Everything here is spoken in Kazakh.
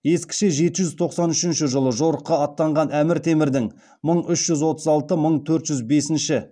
ескіше жеті жүз тоқсан үшінші жыл жорыққа аттанған әмір темірдің